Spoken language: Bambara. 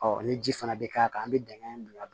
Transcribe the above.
ni ji fana bɛ k'a kan an bɛ dingɛ in bila